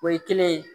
O ye kelen ye